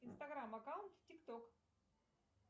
инстаграм аккаунт тик ток